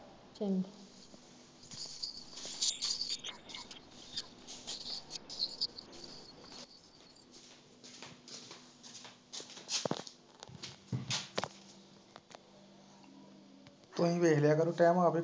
ਚੰਗਾ